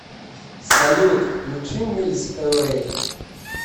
салют включи мильс эвэй